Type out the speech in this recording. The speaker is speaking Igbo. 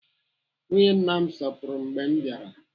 Nwunye nna m sọpụrụ m mgbe m bịara.